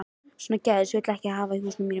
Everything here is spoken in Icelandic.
Svona gæs vil ég ekki hafa í mínum húsum.